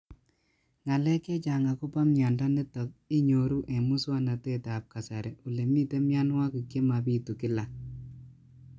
Ng'alek chechang' akopo miondo nitok inyoru eng' muswog'natet ab kasari ole mito mianwek che mapitu kila